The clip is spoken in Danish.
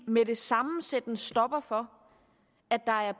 med det samme sætte en stopper for at der er